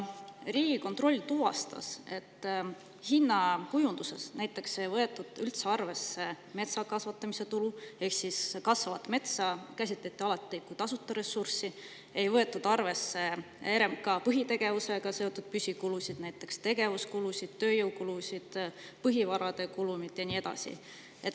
Riigikontroll tuvastas, et hinnakujunduses näiteks ei võetud üldse arvesse metsa kasvatamise ehk kasvavat metsa käsitleti alati kui tasuta ressurssi, ei võetud arvesse RMK põhitegevusega seotud püsikulusid, näiteks tegevuskulusid, tööjõukulusid, põhivarade kulumit ja nii edasi.